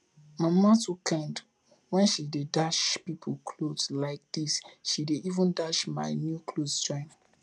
my mama too kind when she dey dash people cloth like dis she dey even dash my new clothes join